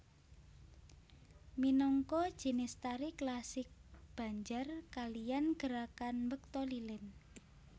Minangka jinis tari klasik Banjar kaliyan gerakan mbekta lilin